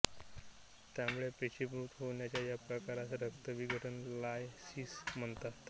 तांबड्या पेशी मृत होण्याच्या या प्रकारास रक्तविघटन लायसिस म्हणतात